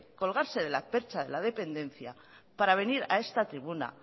colgarse de la percha de la dependencia para venir a esta tribuna